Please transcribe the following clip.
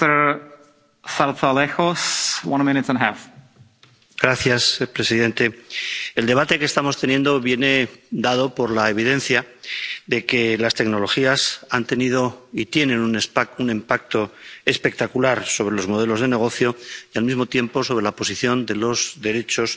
Señor presidente, el debate que estamos teniendo viene dado por la evidencia de que las tecnologías han tenido y tienen un impacto espectacular sobre los modelos de negocio y, al mismo tiempo, sobre la posición de los derechos